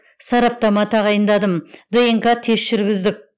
сараптама тағайындадым днқ тест жүргіздік